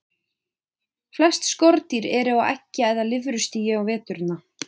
Flest skordýr eru á eggja- eða lirfustigi á veturna.